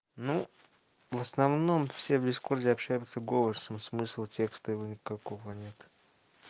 ну в основном все в дискорде общаемся голосом смысл текста его никакого нет